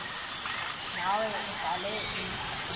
nawe udlale i